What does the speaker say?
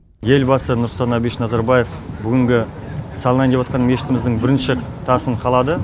елбасы нұрсұлтан абишевич назарбаев бүгінгі салынайын деватқан мешітіміздің бірінші тасын қалады